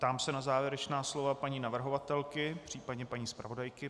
Ptám se na závěrečná slova paní navrhovatelky, případně paní zpravodajky.